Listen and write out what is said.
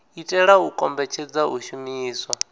itela u kombetshedza u shumiswa